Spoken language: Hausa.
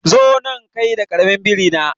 Zo nan kai da karamin biri na